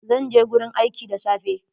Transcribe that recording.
Zan je gurin aiki da safe.